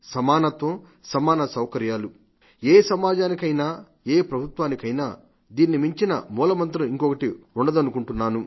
సమానత్వ సమాన సౌకర్యాలు ఏ సమాజానికైనా ఏ ప్రభుత్వానికైనా దీన్ని మించిన మూలమంత్రం ఇంకొకటి ఉంటుందనుకోను